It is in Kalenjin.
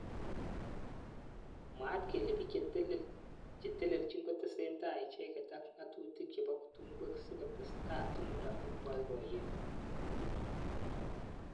mwaat kele bik cheteleljin kotesetai icheket ak ngatutik chebo tungwek sikotestai tumdo ab boiboyet